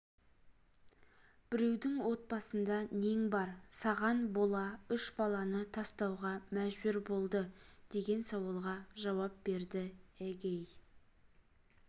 біреудің отбасында нең бар саған бола үш баланы тастауға мәжбүр болды деген сауалға жауап берді эгей